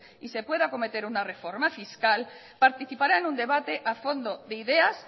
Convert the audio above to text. y se puede acometer una reforma fiscal participará en un debate a fondo de ideas